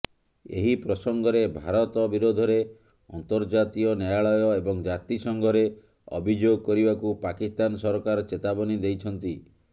ଏହି ପ୍ରସଙ୍ଗରେ ଭାରତ ବିରୋଧରେ ଅନ୍ତର୍ଜାତୀୟ ନ୍ୟାୟାଳୟ ଏବଂ ଜାତିସଂଘରେ ଅଭିଯୋଗ କରିବାକୁ ପାକିସ୍ତାନ ସରକାର ଚେତାବନୀ ଦେଇଛନ୍ତି